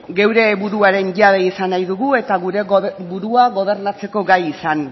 gure buruaren jabe izan nahi dugu eta gure burua gobernatzeko gai izan